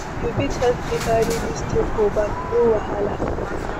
You fit help me carry dis thing for back, no wahala?